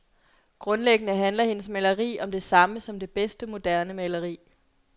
Grundlæggende handler hendes maleri om det samme som det bedste moderne maleri.